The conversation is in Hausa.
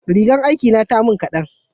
rigar aiki na ta mun kadan